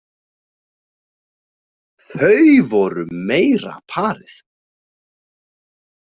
Þau voru meira parið.